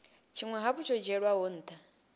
tshinwe hafhu tsho dzhielwaho ntha